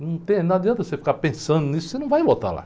Não tem, não adianta você ficar pensando nisso, você não vai voltar lá.